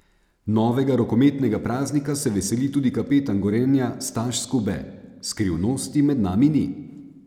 Novega rokometnega praznika se veseli tudi kapetan Gorenja Staš Skube: "Skrivnosti med nami ni.